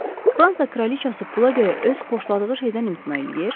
Fransa kraliçası pula görə öz xoşladığı şeydən imtina eləyir?